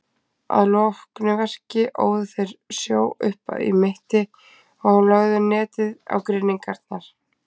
Að loknu verki óðu þeir sjó upp í mitti og lögðu netið á grynningarnar.